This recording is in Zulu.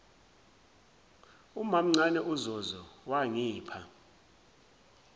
umamncane uzozo wangipha